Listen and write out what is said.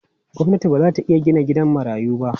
Gwamnati ba za ta iya gina gidan marayu ba.